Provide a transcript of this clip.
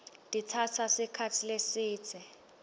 titsatsa sikhatsi lesidze